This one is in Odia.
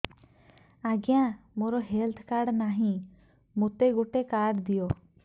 ଆଜ୍ଞା ମୋର ହେଲ୍ଥ କାର୍ଡ ନାହିଁ ମୋତେ ଗୋଟେ କାର୍ଡ ଦିଅ